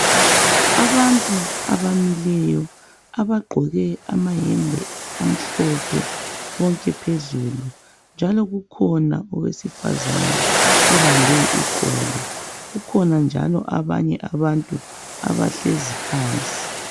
Abantu abamileyo abagqoke amayembe amhlophe bonke phezulu, njalo kukhona owesifazana obambe iqolo kukhona njalo abanye abantu abahlezi phansi.